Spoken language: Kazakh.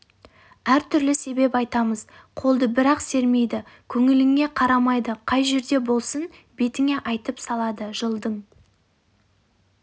әр түрлі себеп айтамыз қолды бір-ақ сермейді көңіліңе қарамайды қай жерде болсын бетіңе айтып салады жылдың